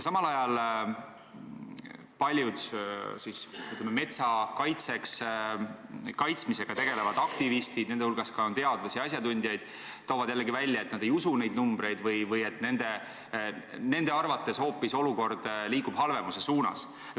Samal ajal paljud, ütleme, metsa kaitsmisega tegelevad aktivistid, kelle hulgas on ka teadlasi, asjatundjaid, toovad välja, et nad ei usu neid numbreid või et nende arvates liigub olukord hoopis halvenemise suunas.